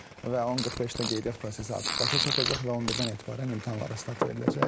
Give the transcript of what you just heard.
Və 10:45-də qeydiyyat prosesi artıq başa çatacaq və 11-dən etibarən imtahanlara start veriləcək.